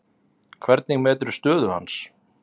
Hvernig meturðu stöðu hans?